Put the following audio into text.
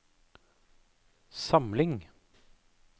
samling